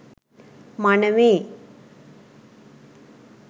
මනමේ,